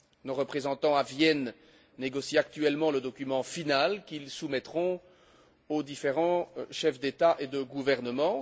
Nos représentants à Vienne négocient actuellement le document final qu'ils soumettront aux différents chefs d'État et de gouvernement.